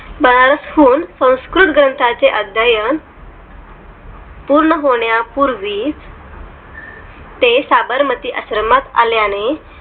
बनारस हुन संस्कृत ग्रंथाचे अध्ययन पूर्ण होण्या पूर्वी ते साबरमती आश्रमात आल्याने